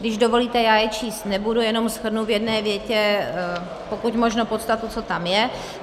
Když dovolíte, já je číst nebudu, jenom shrnu v jedné větě pokud možno podstatu, co tam je.